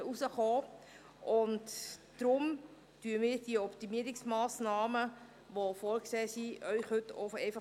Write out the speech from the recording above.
Deswegen schlagen wir Ihnen heute die vorgesehenen Optimierungsmassnahmen vor, aber ohne diese zu ergänzen.